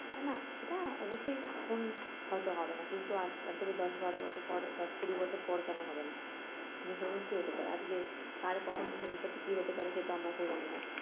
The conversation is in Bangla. না না সেটা অবশ্যই এখন হয়তো হবে না কিন্তু আজ আজ থেকে দশ বারো বছর পর দশ কুড়ি বছর পর কেন হবে না নিশ্চয়ই হতে পারে, আজকে কার কখন ভবিষ্যতে কি হতে পারে সে তো আমরা কেউ জানি না